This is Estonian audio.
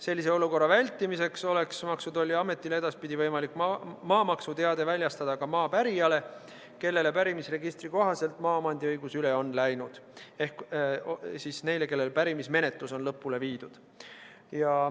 Sellise olukorra vältimiseks oleks Maksu- ja Tolliametil edaspidi võimalik maamaksuteade väljastada ka maa pärijatele, kellele pärimisregistri kohaselt on maaomandiõigus üle läinud, ehk neile, kelle puhul pärimismenetlus on lõpule viidud.